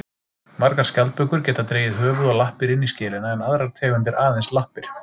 Margar skjaldbökur geta dregið höfuð og lappir inn í skelina en aðrar tegundir aðeins lappir.